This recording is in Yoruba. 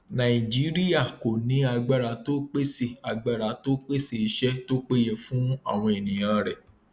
nàìjíríà kò ní agbára tó pèsè agbára tó pèsè iṣẹ tó péye fún àwọn ènìyàn rẹ